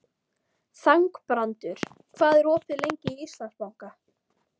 Þangbrandur, hvað er opið lengi í Íslandsbanka?